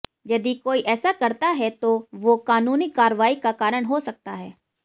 यदि कोई ऐसा करता है तो वो कानूनी कार्रवाई का कारण हो सकता है